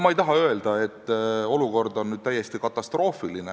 Ma ei taha öelda, et olukord on täiesti katastroofiline.